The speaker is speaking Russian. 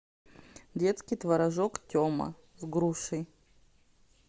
детский творожок тема с грушей